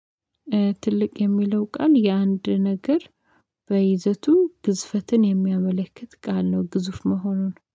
ትልቅ የሚለው ቃል የአንድ ነገር በይዘቱ ግዝፈትን የሚያመለክት ቃል ነው ግዙፍ መሆኑን።